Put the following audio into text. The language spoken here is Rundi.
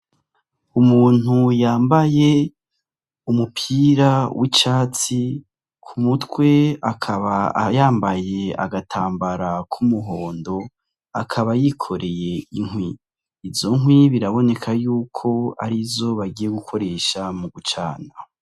Umuntu yambaye umupira w' icatsi ku mutwe akaba yambaye agatambara k'umuhondo akaba yikoreye inkwi, izo nkwi biraboneka yuko arizo bagiye gukoresha mu gucana.